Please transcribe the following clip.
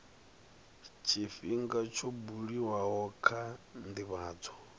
tshifhinga tsho buliwaho kha ndivhadzo